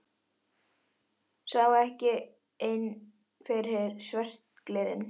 Sá ekki inn fyrir svört glerin.